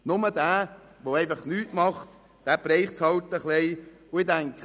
Nur derjenige, der einfach nichts tut, den trifft es halt ein wenig.